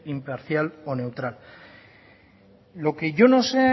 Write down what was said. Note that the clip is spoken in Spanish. imparcial o neutral lo que yo no sé